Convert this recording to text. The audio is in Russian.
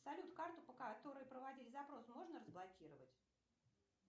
салют карту по которой проводили запрос можно разблокировать